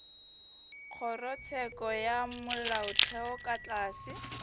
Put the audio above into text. kgorotsheko ya molaotheo ka tlase